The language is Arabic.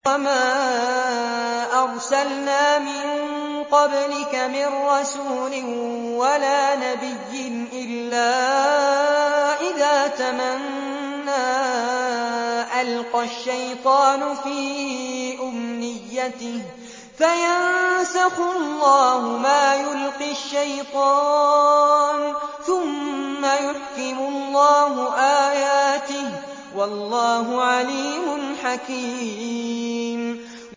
وَمَا أَرْسَلْنَا مِن قَبْلِكَ مِن رَّسُولٍ وَلَا نَبِيٍّ إِلَّا إِذَا تَمَنَّىٰ أَلْقَى الشَّيْطَانُ فِي أُمْنِيَّتِهِ فَيَنسَخُ اللَّهُ مَا يُلْقِي الشَّيْطَانُ ثُمَّ يُحْكِمُ اللَّهُ آيَاتِهِ ۗ وَاللَّهُ عَلِيمٌ حَكِيمٌ